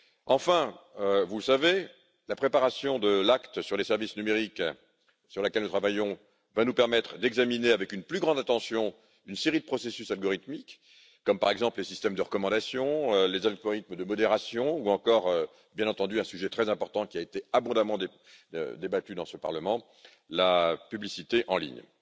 Enfin, vous le savez, la préparation de l'acte sur les services numériques, à laquelle nous travaillons, va nous permettre d'examiner avec une plus grande attention une série de processus algorithmiques, par exemple les systèmes de recommandations, les algorithmes de modération, ou encore, bien entendu, un sujet très important qui a été abondamment débattu dans ce Parlement, la publicité en ligne.